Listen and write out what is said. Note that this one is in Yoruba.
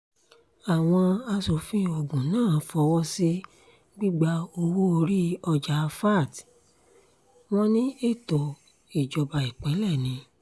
àwọn aṣòfin ogun náà fọwọ́ sí gbígba owó-orí ọjà vat wọn ní ètò ìjọba ìpínlẹ̀ ni